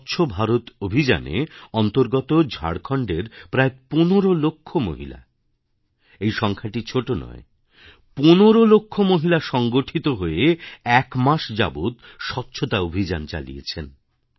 স্বচ্ছ ভারত অভিযান এ অন্তর্গত ঝাড়খণ্ডের প্রায় ১৫ লক্ষ মহিলা এই সংখ্যাটি ছোট নয় ১৫ লক্ষ মহিলা সংগঠিত হয়ে এক মাস যাবৎ স্বচ্ছতা অভিযান চালিয়েছেন